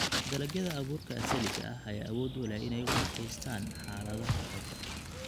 Dalagyada abuurka asaliga ah ayaa awood u leh inay u adkeystaan ??xaaladaha adag.